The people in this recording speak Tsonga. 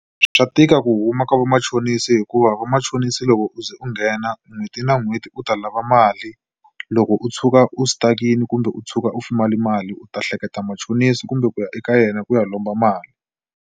Swa tika ku huma ka vamachonisi hikuva vamachonisi loko u ze u nghena n'hweti na n'hweti u ta lava mali loko u tshuka u stuck-ini kumbe u tshuka u mali u ta hleketa machonisi kumbe ku ya eka yena ku ya lomba mali.